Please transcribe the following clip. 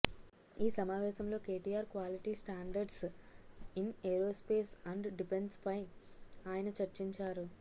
ఈ సమావేశంలో KTR quality standards in aerospace and ఢిపెన్స్పై ఆయన చర్చించారు